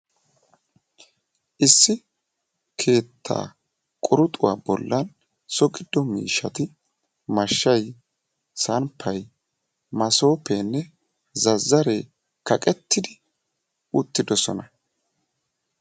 Issi keetta quruxxuwa bollan so giddo miishshati mashshay, samppay, massopenne zazzare kaqettidi uttidoosona.